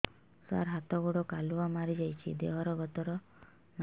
ସାର ହାତ ଗୋଡ଼ କାଲୁଆ ମାରି ଯାଉଛି ଦେହର ଗତର ନାହିଁ